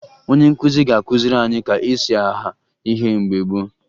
Onye nkụzi ga-akụziri anyị ka e si aha ihe mgbe gboo